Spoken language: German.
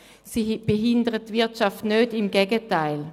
Dadurch wird die Wirtschaft nicht behindert, im Gegenteil.